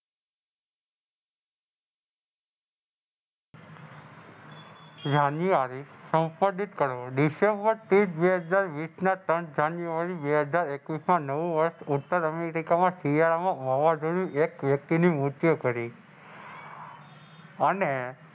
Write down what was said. જાન્યુઆરી કરો ડીસેમ્બર તીસ બે હજાર વીસ ના ત્રણ જાન્યુઆરી બે હજાર એક વીસ ના નવું વર્ષ ઉતર અમેરિકા માં શિયાળા માં વાવાજોડું એક વય્ક્તિ નું મૃત્યુ કરી અને,